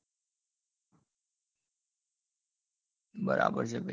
બરાબર છે ભાઈ ભાઈ